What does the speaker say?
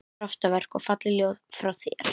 Kraftaverk og falleg ljóð frá þér